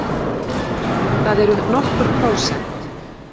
Það eru nokkur prósent.